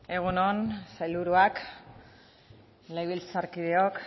egun on sailburuak legebiltzarkideok